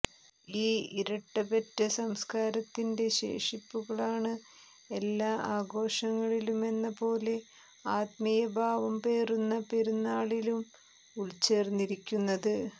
ഈ ഇരട്ട പെറ്റ സംസ്കാരത്തിന്റെ ശേഷിപ്പുകളാണ് എല്ലാ ആഘോഷങ്ങളിലുമെന്ന പോലെ ആത്മീയഭാവം പേറുന്ന പെരുന്നാളിലും ഉള്ച്ചേര്ന്നിരിക്കുന്നത്